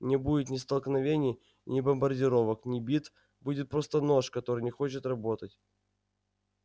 не будет ни столкновений ни бомбардировок ни битв будет просто нож который не хочет работать